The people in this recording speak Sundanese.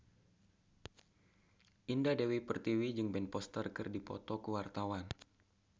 Indah Dewi Pertiwi jeung Ben Foster keur dipoto ku wartawan